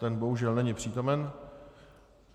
Ten bohužel není přítomen.